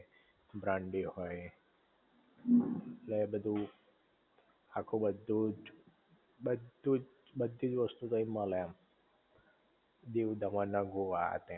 brandy હોય ઍટલે એ બધુ આખું બધુ જ બધુ જ બધી જ વસ્તુ તઈ મલે એમ, દીવ દમણ ને ગોવા અ તન એમ